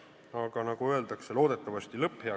Aga nagu öeldakse, lõpp hea, kõik hea.